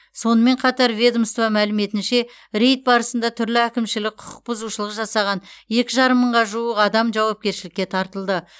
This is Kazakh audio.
сонымен қатар ведомство мәліметінше рейд барысында түрлі әкімшілік құқық бұзушылық жасаған екі жарым мыңға жуық адам жауапкершілікке тартылды